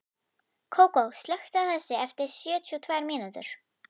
Kókó, slökktu á þessu eftir sjötíu og tvær mínútur.